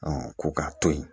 ko k'a to yen